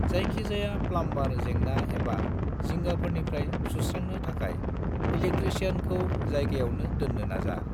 जायखि जाया प्लामबार जेंना एबा जिंगाफोरनिफ्राय सुस्रांनो थाखाय इलेक्ट्रिसियानखौ जायगायावनो दोननो नाजा।